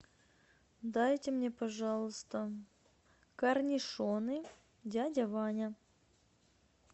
дайте мне пожалуйста корнишоны дядя ваня